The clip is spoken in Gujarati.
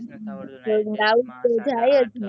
doubt તો જાયે જ ને